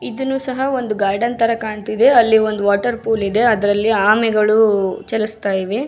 ಇದನ್ನು ಸಹ ಒಂದು ಗಾರ್ಡನ್ ತರ ಕಾಣ್ತಿದೆ ಅಲ್ಲಿ ಒಂದು ವಾಟರ್ ಪೂಲ್ ಇದೆ ಅದ್ರಲ್ಲಿ ಆಮೆಗಳು ಚಲಸುತ್ತಾ ಇದೆ.